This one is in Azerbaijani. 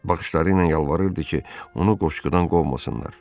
Baxışlarıyla yalvarırdı ki, onu qoşqudan qovmasınlar.